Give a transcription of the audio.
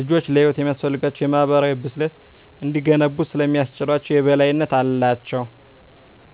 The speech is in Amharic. ልጆች ለሕይወት የሚያስፈልጋቸውን የማኅበራዊ ብስለት እንዲገነቡ ስለሚያስችላቸው የበላይነት አላቸው።